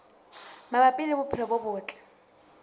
mabapi le bophelo bo botle